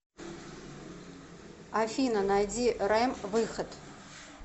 афина найди рэм выход